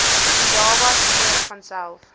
indaba spreek vanself